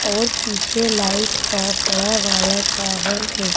और पीछे लाइट का बड़ा वाला टावर है।